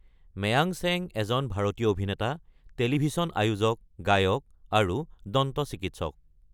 মেয়াং চেং এজন ভাৰতীয় অভিনেতা, টেলিভিছন আয়োজক, গায়ক আৰু দন্ত চিকিৎসক।